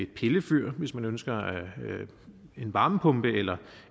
pillefyr hvis man ønsker en varmepumpe eller